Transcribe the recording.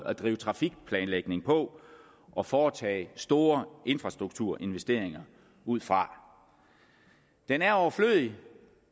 at drive trafikplanlægning på og foretage store infrastrukturinvesteringer ud fra den er overflødig